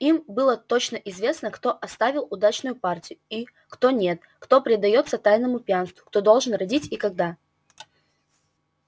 им было точно известно кто оставил удачную партию и кто нет кто предаётся тайному пьянству кто должен родить и когда